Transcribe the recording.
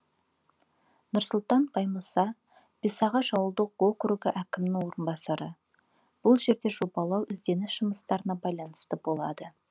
нұрсұлтан баймұса бесағаш ауылдық округі әкімінің орынбасары бұл жерде жобалау ізденіс жұмыстарына байланысты болады